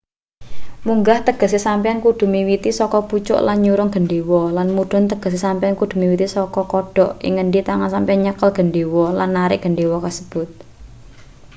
munggah tegese sampeyan kudu miwiti saka pucuk lan nyurung gendhewa lan mudhun tegese sampeyan kudu miwiti saka kodhok ing ngendi tangan sampeyan nyekel gendhewa lan narik gendhewa kasebut